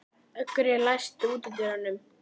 Ögri, læstu útidyrunum.